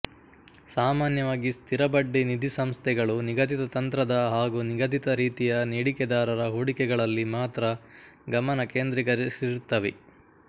ಸಾಮಾನ್ಯವಾಗಿ ಸ್ಥಿರಬಡ್ಡಿ ನಿಧಿಸಂಸ್ಥೆಗಳು ನಿಗದಿತ ತಂತ್ರದ ಹಾಗೂ ನಿಗದಿತ ರೀತಿಯ ನೀಡಿಕೆದಾರರ ಹೂಡಿಕೆಗಳಲ್ಲಿ ಮಾತ್ರ ಗಮನ ಕೇಂದ್ರೀಕರಿಸಿರುತ್ತವೆ